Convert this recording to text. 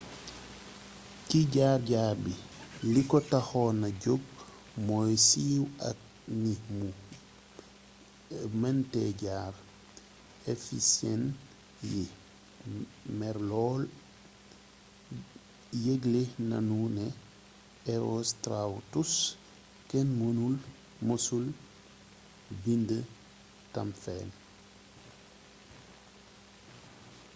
ci jaar jaar bi li ko taxon na jóg mooy siiw aak ni mu mënte jar ephesyen yi mer lool yëgle nanu ne herostratus kenn mësul bnd tam fenn